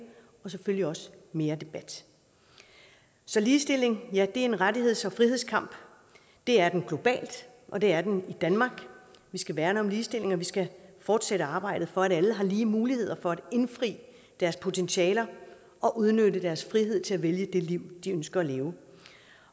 og selvfølgelig også mere debat ligestilling er en rettigheds og frihedskamp det er den globalt og det er den i danmark vi skal værne om ligestillingen og vi skal fortsætte arbejdet for at alle har lige muligheder for at indfri deres potentialer og udnytte deres frihed til at vælge det liv de ønsker at leve